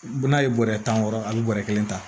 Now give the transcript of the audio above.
N'a ye bɔrɛ tan wɔrɔ a bɛ bɔrɛ kelen ta